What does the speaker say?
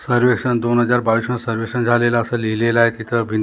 सर्वेक्षण दोन हजार बावीसला सर्वेक्षण झालेला असे लिहिलेला आहे तिथे भिं--